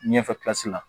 Ɲɛfɛ la